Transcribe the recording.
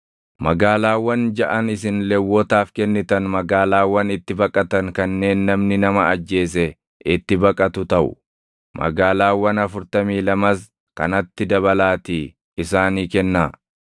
“Magaalaawwan jaʼan isin Lewwotaaf kennitan magaalaawwan itti baqatan kanneen namni nama ajjeese itti baqatu taʼu. Magaalaawwan afurtamii lamas kanatti dabalaatii isaanii kennaa.